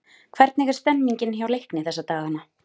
Hvernig er stemningin hjá Leikni þessa dagana?